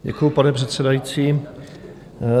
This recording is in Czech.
Děkuji, pane předsedající.